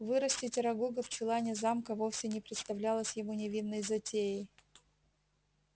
вырастить арагога в чулане замка вовсе не представлялось ему невинной затеей